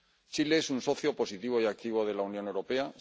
Chile es un socio positivo y activo de la Unión Europea.